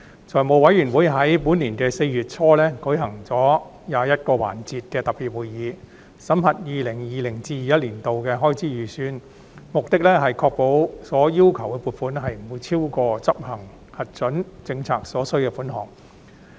財務委員會在本年4月初舉行了21個環節的特別會議，審核 2020-2021 年度的開支預算，目的是確保所要求的撥款，不會超過執行核准政策所需的款項。